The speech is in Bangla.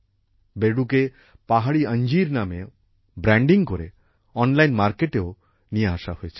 বেডুকে পাহাড়ী অঞ্জীর নামে ব্র্যান্ডিং করে অনলাইন মার্কেটেও নিয়ে আসা হয়েছে